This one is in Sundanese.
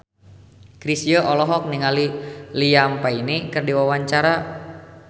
Chrisye olohok ningali Liam Payne keur diwawancara